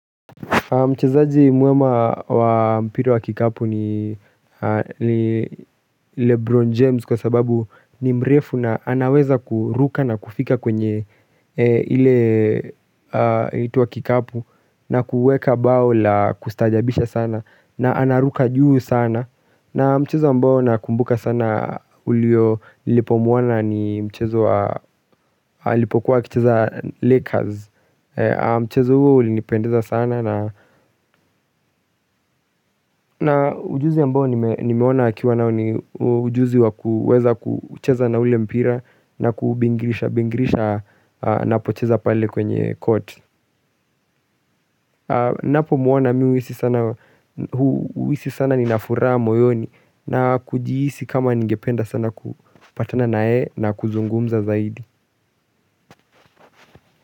Mchezaji mwema wa mpira wa kikapu ni Lebron James kwa sababu ni mrefu na anaweza kuruka na kufika kwenye ile yaitwa kikapu na kuweka bao la kustajabisha sana na anaruka juu sana na mchezo ambao nakumbuka sana ulio nilipomwona ni mchezo wa alipokuwa akicheza Lakers mchezo huo ulinipendeza sana na Ujuzi ambao nimeona akiwa nao ni ujuzi wa kuweza kucheza na ule mpira na kubingirisha bingirisha apo cheza pale kwenye court. Ninapo muona mimi huhisi sana ninafuraha moyoni na kujihisi kama nigependa sana kupatana na yeye na kuzungumza zaidi.